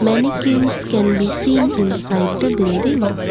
mannequins can be seen inside the building.